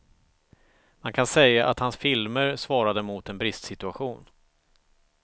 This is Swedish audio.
Man kan säga att hans filmer svarade mot en bristsituation.